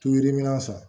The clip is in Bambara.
Turu minan san